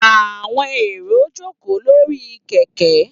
Àwọn èrò jókòó lórí kẹ̀kẹ́.